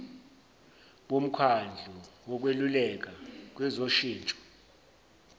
bomkhandlu wokweluleka kwezoshintsho